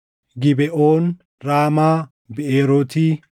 Gibeʼoon, Raamaa, Biʼeerooti,